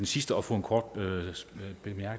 slås for når